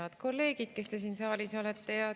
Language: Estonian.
Head kolleegid, kes te siin saalis olete!